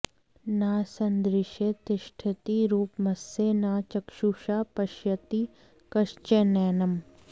न सन्दृशे तिष्ठति रूपमस्य न चक्षुषा पश्यति कश्चनैनम्